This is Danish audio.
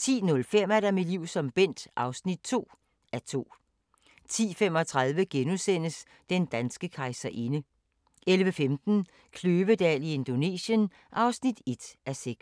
10:05: Mit liv som Bent (2:10) 10:35: Den danske kejserinde * 11:15: Kløvedal i Indonesien (1:6)